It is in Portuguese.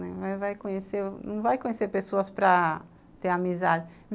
Não vai conhecer não vai conhecer pessoas para ter amizade.